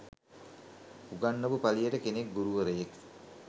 උගන්නපු පලියට කෙනෙක් ගුරුවරයෙක්